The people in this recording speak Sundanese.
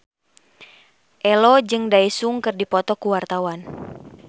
Ello jeung Daesung keur dipoto ku wartawan